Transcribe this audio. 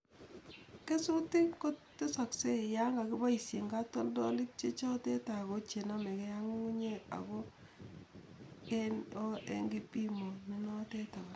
Kesutik koteseksei yan kakipoishien katoldolek chechoten ako chenamekei ak ngungunyek ako en kipimoit nenoten.